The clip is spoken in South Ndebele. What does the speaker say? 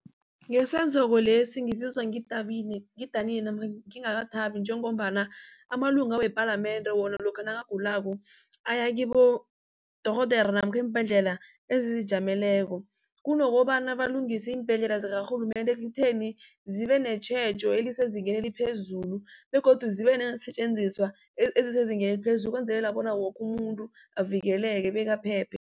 lesi ngizizwa ngidanile namkha ngikathabi njengombana amalunga wepalamende wona lokha nakagulako aya kibodorhodere namkha iimbhedlela ezizijameleko. Kunokobana balungise iimbhedlela zikarhulumende ekutheni zibe netjhejo elisezingeni eliphezulu begodu zibe neensetjenziswa ezisezingeni eliphezulu ukwenzela bona woke umuntu avikeleke bekaphephe.